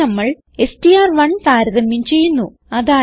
ഇവിടെ നമ്മൾ എസ്ടിആർ1 താരതമ്യം ചെയ്യുന്നു